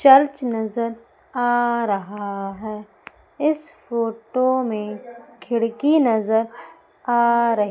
church नजर आ रहा है इस फोटो मे खिड़की नजर आ रही--